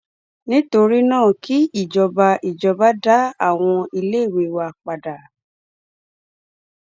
nítorí náà kí ìjọba ìjọba dá àwọn iléèwé wa padà